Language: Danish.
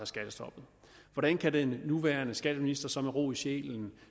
skattestoppet hvordan kan den nuværende skatteminister så med ro i sjælen